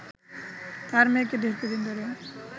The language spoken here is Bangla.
তার মেয়েকে দীর্ঘদিন ধরে